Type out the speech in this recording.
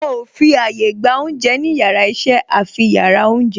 Wọn ò fi àyà gba oúnjẹ ní yàrá iṣẹ́ àfi yàrá oúnjẹ